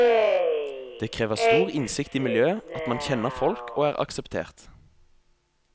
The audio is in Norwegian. Det krever stor innsikt i miljøet, at man kjenner folk og er akseptert.